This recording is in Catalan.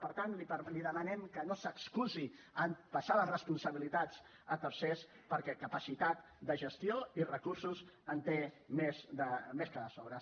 per tant li demanem que no s’excusi en passar les responsabilitats a tercers perquè capacitat de gestió i recursos en té més que de sobres